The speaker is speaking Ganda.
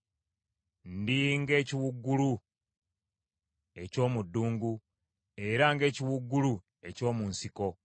Ndi ng’ekiwuugulu eky’omu ddungu, era ng’ekiwuugulu eky’omu nsiko.